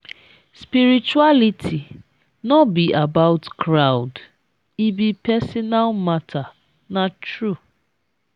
spirituality no be about crowd; e be personal matter na true.